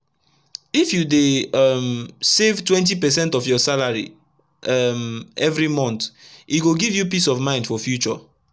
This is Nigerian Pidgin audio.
if u dey um save 20 percent of ur salary um everi month e go give u peace of mind for future